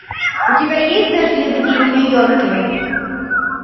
у тебя есть дождливый день в нью йорке